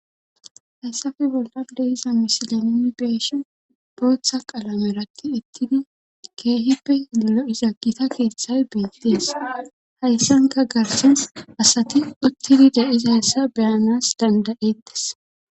Hessafe bolqan de iza misilenini beeshi bootha qalameratti ittidi keehippe lolo'iza gita keeththay beettees hayssanka garsen asati uttidi de iza hassa beyanas dandayettes.